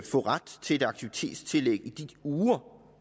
få ret til et aktivitetstillæg i de uger